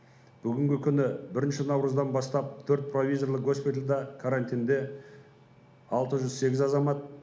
бүгінгі күні бірінші наурыздан бастап төрт провизорлық госпитальда карантинде алты жүз сегіз азамат